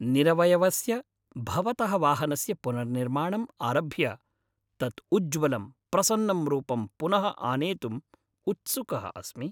निरवयवस्य भवतः वाहनस्य पुनर्निर्माणम् आरभ्य तत् उज्ज्वलं, प्रसन्नं रूपं पुनः आनेतुं उत्सुकः अस्मि।